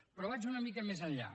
però vaig una mica més enllà